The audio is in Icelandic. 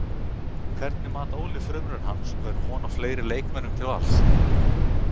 Hvernig mat Óli frumraun hans og er von á fleiri leikmönnum til Vals?